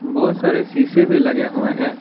बहोत सारे शीशे भी लगे हुए हैं।